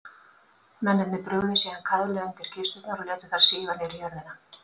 Mennirnir brugðu síðan kaðli undir kisturnar og létu þær síga niður í jörðina.